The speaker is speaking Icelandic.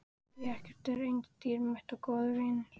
Því ekkert er eins dýrmætt og góðir vinir.